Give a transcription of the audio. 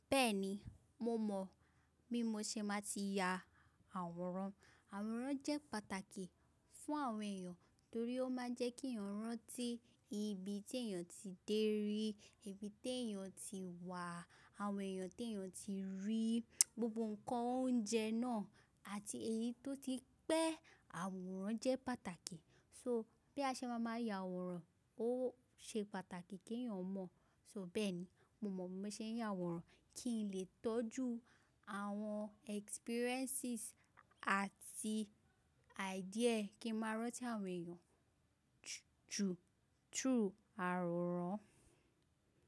Bẹ́ẹ̀ni, mo mọ̀ bí mo ṣe máa ti ya àwòrán. Àwòrán jẹ́ pàtàkì fún àwọn èèyàn torí ó máa ń jẹ́ kí èèyàn rántí ibi tí èèyàn ti dé rí, ibi tí èèyàn ti wà, àwọn èèyàn tí èèyàn ti rí, gbogbo ǹkan oúnjẹ náà àti èyí tó ti pẹ́. Àwòrán jẹ́ pàtàkì. So bí a ṣe máa máa ya àwòrán, ó ṣe pàtàkì kí èèyàn mọ̀. So bẹ́ẹ̀ni, mo mọ̀ bí mo ṣe ń ya àwòrán kí n lè tọ́jú àwọn experiences àti idea kí n máa rántí àwọn èèyàn. Ju through àwòrán.